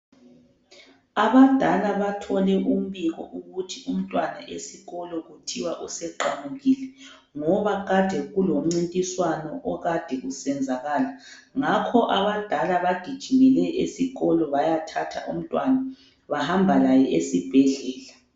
Abadala bathole umbiko ukuthi umntwana esikolo kuthiwa useqamukile ngobaa kade kulomncintiswano okade usenzakala ngakho abadala bagijimele esikolo bayathatha umntwana bahamba laye esibhedlela.